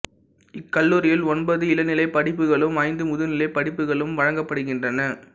இக்கல்லூரியில் ஒன்பது இளநிலை படிப்புகளும் ஐந்து முதுநிலை படிப்புகளும் வழங்கப்படுகின்றன